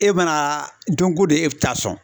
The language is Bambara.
E mana don ko don e bɛ taa sɔn.